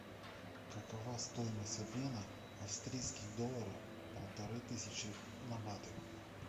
какова стоимость обмена австрийских долларов полторы тысячи на баты